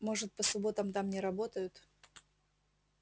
может по субботам там не работают